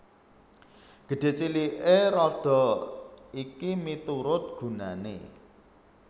Gedhé ciliké rodha iki miturut gunané